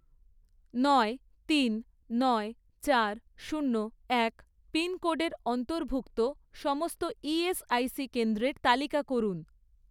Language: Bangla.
নয়, তিন, নয়, চার, শূন্য, এক পিনকোডের অন্তর্ভুক্ত সমস্ত ইএসআইসি কেন্দ্রের তালিকা করুন